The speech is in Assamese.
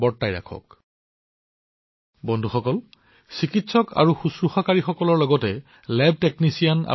বন্ধুবৰ্গ চিকিৎসক আৰু নাৰ্চিং কৰ্মচাৰীৰ লগতে লেবটেকনিচিয়ান আৰু এম্বুলেন্স চালকৰ দৰে ফ্ৰণ্টলাইন কৰ্মীসকলে এই মুহূৰ্তত ঈশ্বৰৰ দৰে কাম কৰি আছে